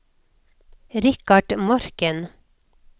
Richard Morken